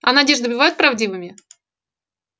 а надежды бывают правдивыми